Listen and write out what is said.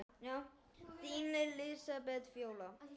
Þín Lísbet Fjóla.